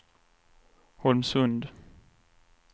Holmsund